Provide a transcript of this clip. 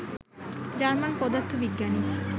German পদার্থবিজ্ঞানী